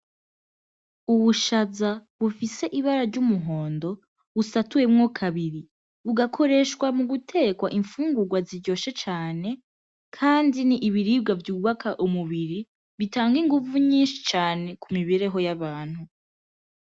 Ubushaza bufise ibara ry'umuhondo busatuyemwo kabiri, bugakoreshwa mu guteka infungurwa ziryoshe cane kandi ni ibiribwa vyubaka umubiri bitanga inguvu nyinshi cane ku mibereho y'abantu.